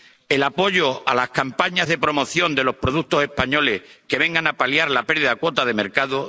el apoyo a campañas de promoción de los productos españoles que vengan a paliar la pérdida de cuota de mercado